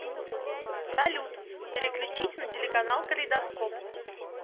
салют переключить на телеканал калейдоскоп